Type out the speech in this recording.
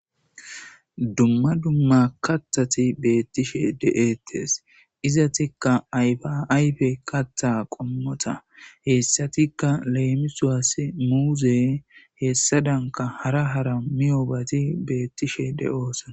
Dumma dumma kathati beettishe de7ettes izatikka aybaayfe katha qommota heessatikka leemisuwas muuze heessa danka hara hara miyoobati beettishe de'oosana